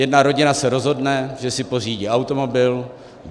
Jedna rodina se rozhodne, že si pořídí automobil.